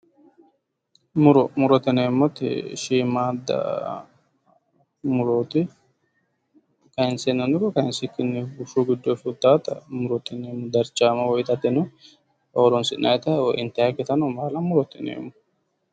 Muro, murote yinneemmoti shiimadda muroti kayinseenano kayinsikkinino bushu giddonni fultanotta murote yinneemmo, darchameno intannikkittano intannittano murote yinneemmo